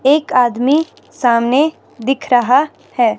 एक आदमी सामने दिख रहा है।